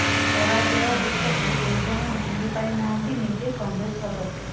ପରାଜୟ ଦୁଃଖକୁ ଏଯାଏଁ ଭୁଲିପାରି ନାହାନ୍ତି ନିଜେ କଂଗ୍ରେସ ଅଧ୍ୟକ୍ଷ